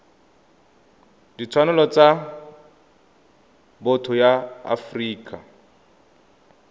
ditshwanelo tsa botho ya afrika